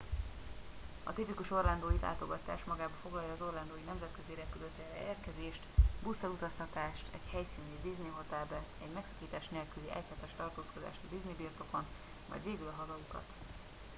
a tipikus orlandói látogatás magába foglalja az orlandó i nemzetközi repülőtérre érkezést busszal utaztatást egy helyszíni disney hotelbe egy megszakítás nélküli egyhetes tartózkodást a disney birtokon majd végül a hazautat